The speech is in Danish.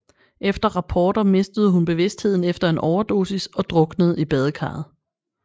Ifølge rapporter mistede hun bevidstheden efter en overdosis og druknede i badekarret